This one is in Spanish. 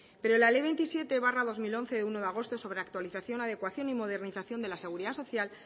pero la ley veintisiete barra dos mil once de uno de agosto sobre actualización adecuación y modernización de la seguridad social